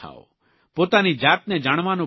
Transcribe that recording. પોતાની જાતને જાણવાનો પ્રયાસ કરો